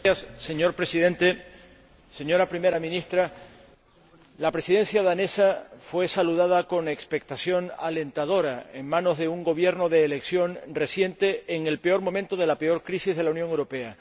Señor Presidente, señora Primera Ministra, la Presidencia danesa fue saludada con expectación alentadora, en manos de un Gobierno de elección reciente, en el peor momento de la peor crisis de la Unión Europea.